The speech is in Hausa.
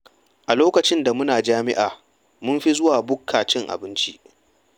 A lokacin da muna jami'a, mun fi zuwa bukka cin abinci.